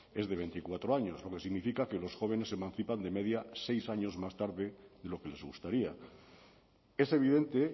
es de veinticuatro años lo que significa que los jóvenes se emancipan de media seis años más tarde de lo que les gustaría es evidente